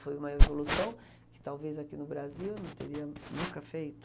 Foi uma evolução que talvez aqui no Brasil não teria nunca feito.